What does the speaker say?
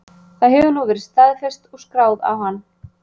Það hefur nú verið staðfest og skráð á hann.